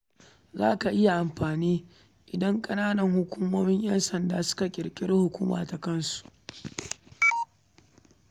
Zai iya matuƙar amfani idan ƙananan hukumomi suka ƙirƙiri hukumar ƴansanda tasu ta kansu.